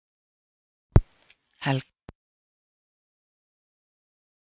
Helga: Hvað fannst þér flottasta atriðið?